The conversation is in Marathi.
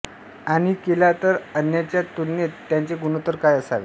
आणि केला तर अन्यांच्या तुलनेत त्याचे गुणोत्तर काय असावे